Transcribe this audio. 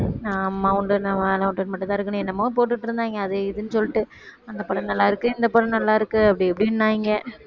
நாம உண்டு நம்ம வேலை உண்டுன்னு மட்டும் தான் இருக்கணும் என்னமோ போட்டுட்டிருந்தாங்க அது இதுன்னு சொல்லிட்டுஅந்த படம் நல்லா இருக்கு இந்த படம் நல்லா இருக்கு அப்படி இப்படின்னாங்க